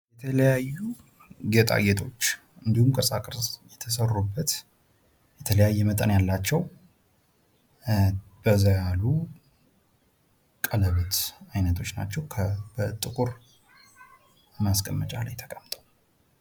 የተለያዩ ጌጣጌጦች እንዲሁም ቅርጻ ቅርጽ የተሰሩበት የተለያየ መጠን ያላቸው በዛ ያሉ ቀለበት አይነቶች ናቸው። በጥቁር ማስቀመጫ ላይ ተቀምጠው።